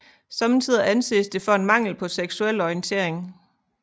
Somme tider anses det for en mangel på seksuel orientering